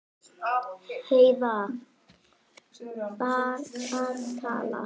Heiða var að tala.